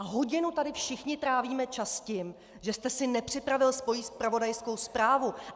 A hodinu tady všichni trávíme čas tím, že jste si nepřipravil svoji zpravodajskou zprávu.